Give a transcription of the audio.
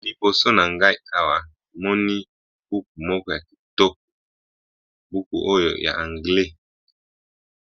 naliboso na ngai awa moni hooke moko ya kitoko buku oyo ya anglais